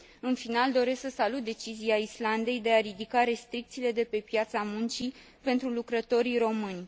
În final, doresc să salut decizia Islandei de a ridica restricțiile de pe piața muncii pentru lucrătorii români.